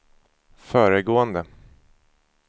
föregående